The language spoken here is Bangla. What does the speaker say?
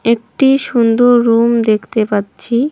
একটি সুন্দর রুম দেখতে পাচ্ছি।